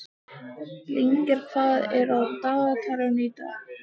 Lyngar, hvað er á dagatalinu í dag?